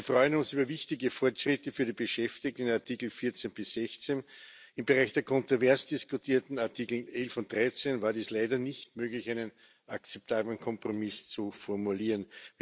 Wir freuen uns über wichtige Fortschritte für die Beschäftigten in Artikel 14 bis 16. Im Bereich der kontrovers diskutierten Artikel 11 und 13 war es leider nicht möglich, einen akzeptablen Kompromiss zu formulieren.